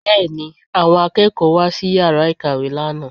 Bẹ́ẹ̀ ni, àwọn akẹ́kọ̀ọ́ wá sí yàrá ìkàwé lánàá